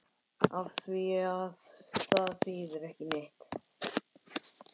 Afþvíað það þýðir ekki neitt.